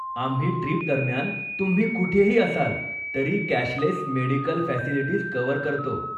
आम्ही ट्रीपदरम्यान तुम्ही कुठेही असाल तरी कॅशलेस मेडीकल फॅसिलिटीज कव्हर करतो.